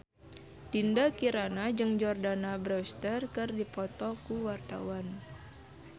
Dinda Kirana jeung Jordana Brewster keur dipoto ku wartawan